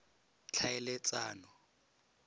tlhaeletsano